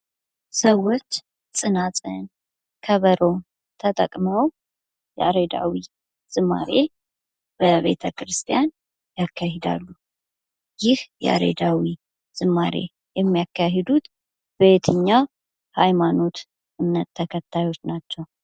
ሰዎች ፅናፅል ፣ከበሮ ተጠቅመው ያሬዳዊ ዝማሬ በቤተ ክርስቲያን ያካሂዳሉ ይህ ያሬዳዊ ዝማሬ የሚያካሂዱት በየትኛው ሀይማኖት እምነት ተከታዮች ናቸው?